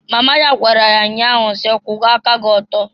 Mama ya gwara ya nnya ahụ si, "Kwuwa aka gị ọtọ!"